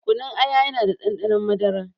Kunun aya yana da ɗanɗanon madara